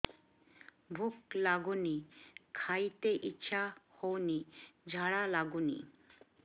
ଭୁକ ଲାଗୁନି ଖାଇତେ ଇଛା ହଉନି ଝାଡ଼ା ଲାଗୁନି